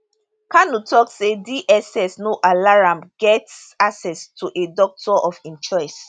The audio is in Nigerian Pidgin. kanu tok say dss no allow am get access to a doctor of im choice